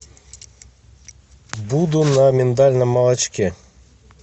буду на миндальном молочке